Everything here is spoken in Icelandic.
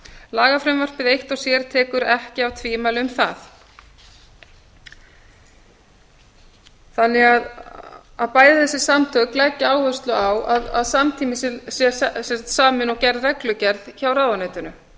lagafrumvarpið eitt og sér tekur ekki af tvímæli um það bæði þessi samtök leggja því áherslu á að samtímis sé samin og gerð reglugerð hjá ráðuneytinu